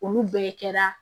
Olu bɛɛ kɛra